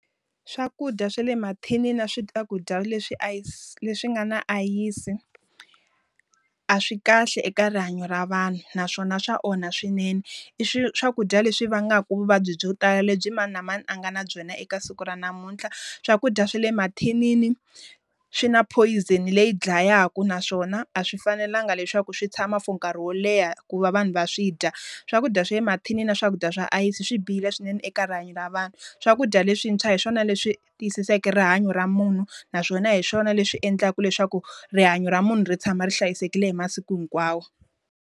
Swakudya swa le mathinini na swakudya leswi leswi nga na ayisi, a swi kahle eka rihanyo ra vanhu, naswona swa onha swinene. I swakudya leswi vangaka vuvabyi byo tala lebyi mani na mani a nga na byona eka siku ra namuntlha. Swakudya swa le mathinini swi na poison leyi dlayaka naswona, a swi fanelanga leswaku swi tshama for nkarhi wo leha ku va vanhu va swi dya. Swakudya swa le mathinini na swakudya swa ayisi swi bihile swinene eka rihanyo ra vanhu. Swakudya leswintshwa hi swona leswi tiyisiseke rihanyo ra munhu, naswona hi swona leswi endlaka leswaku rihanyo ra munhu ri tshama ri hlayisekile hi masiku hinkwawo.